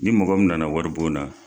Ni mɔgɔ min na na wari bon na